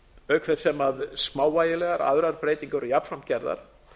auk þess sem smávægilegar aðrar breytingar eru jafnframt gerðar